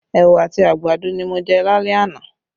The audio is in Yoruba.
Ẹwà àti àgbàdo ni mo jẹ́ lálẹ́ àná